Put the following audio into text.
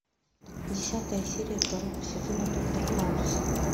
десятая серия второго сезона доктор хаус